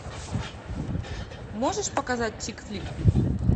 можешь показать тик флик